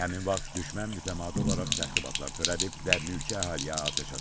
Həmin vaxt düşmən mütəmadi olaraq təxribatlar törədib və mülki əhaliyə atəş açıb.